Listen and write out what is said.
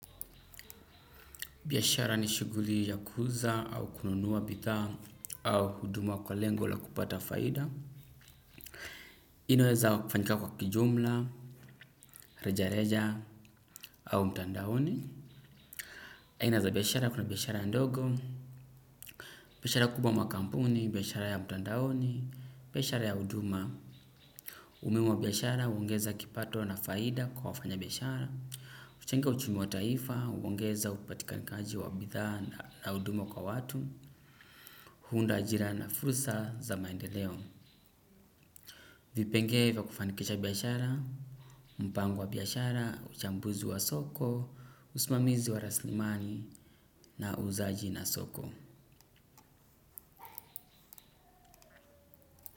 Biashara ni shughuli ya kuuza au kununuwa bidhaa au huduma kwa lengo la kupata faida. Inaweza kufanyika kwa kijumla, reja reja au mtandaoni. Aina za biashara kuna biashara ndogo biashara kubwa ama kampuni biashara ya mtandaoni biashara ya huduma umuhimu wa biashara huongeza kipato na faida kwa wafanyabiashara huchenga uchumi wa taifa, huongeza upatikanikaji wa bidhaa na huduma kwa watu. Huunda ajira na fursa za maendeleo. Vipengele vya kufanikisha biashara. Mpango wa biashara, uchambuzi wa soko. Usimamizi wa raslimani. Na uzaaji na soko.